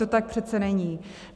To tak přece není.